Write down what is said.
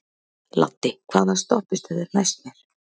Laddi, hvaða stoppistöð er næst mér?